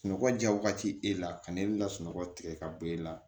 Sunɔgɔ ja wagati e la ka na e ka sunɔgɔ tigɛ ka bɔ e la